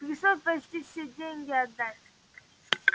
пришлось почти все деньги отдать